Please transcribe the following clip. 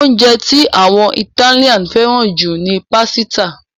Oúnjẹ tí àwọn Ìtálians fẹ́ràn jù ni pásítà.